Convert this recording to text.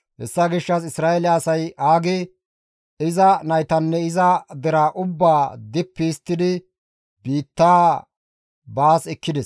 Hessa gishshas Isra7eele asay Aage, iza naytanne iza deraa ubbaa dippi histtidi biitta baas ekkides.